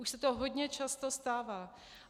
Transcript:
Už se to hodně často stává.